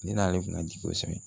Ne n'ale kun ka jigin kosɛbɛ